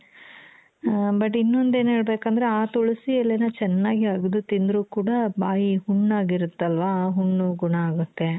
ಆ but ಇನ್ನೊಂದೆನ್ ಹೇಳ್ಬೇಕಂದ್ರೆ ಆ ತುಳಸಿ ಎಲೆನ ಚೆನ್ನಾಗಿ ಅಗೆದು ತಿಂದ್ರು ಕೂಡ ಬಾಯಿ ಹುಣ್ಣಾಗಿರುತ್ತಲ್ವಾ ಆ ಹುಣ್ಣು ಗುಣ ಆಗುತ್ತೆ .